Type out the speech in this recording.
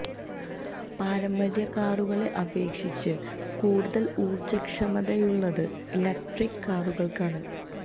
പാരമ്പര്യ കാറുകളെ അപേക്ഷിച്ച് കൂടുതൽ ഊർജ ക്ഷമതയുള്ളത് ഇലക്ട്രിക് കാറുകൾക്കാണ്